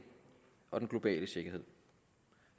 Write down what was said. og den globale sikkerhed